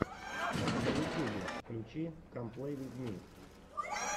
на ютьюбе включи кам плей виз ми